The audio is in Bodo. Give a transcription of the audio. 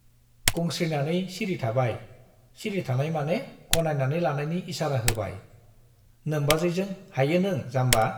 गंस्रिनानै सिरि थाबाय, सिरि थानाय माने गनायनानै लानायनि इसारा होबाय , नोम्बाजैजों हायो नों जाम्बा ?